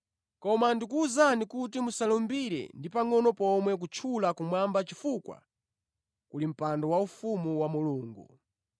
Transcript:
Koma ndikuwuzani kuti musalumbire ndi pangʼono pomwe kutchula kumwamba chifukwa kuli mpando waufumu wa Mulungu.